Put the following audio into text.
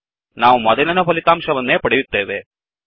ನಾವು ಮೊದಲಿನ ಫಲಿತಾಂಶವನ್ನೇ ಪಡೆಯುತ್ತೇವೆ